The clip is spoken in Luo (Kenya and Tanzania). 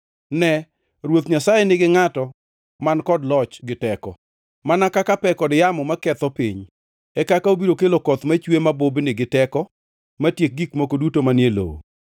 Ne, Ruoth Nyasaye nigi ngʼato man kod loch gi teko. Mana kaka pe kod yamo maketho piny, e kaka obiro kelo koth machwe mabubni giteko matiek gik moko duto manie lowo.